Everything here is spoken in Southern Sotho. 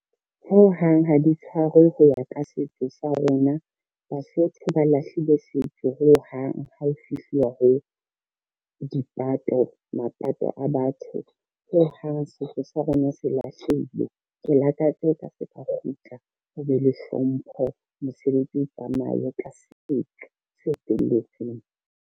Ho hang ha di tshwarwe ho ya ka setso sa rona, Basotho ba lahlile setso ho hang ha ho fihluwa ho mapato a batho, ho hang setso sa rona se lahlehile. Ke lakatsa e ka se ka kgutla ho be le hlompho, mosebetsi o tsamaye ka setso se felletseng.